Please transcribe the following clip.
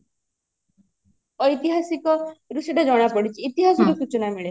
ଐତିହାସିକ ରୁ ସେଇଟା ଜଣାପଡିଛି ଇତିହାସିକ ସୂଚନା ମିଳେ